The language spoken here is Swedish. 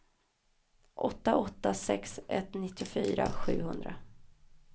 åtta åtta sex ett nittiofyra sjuhundra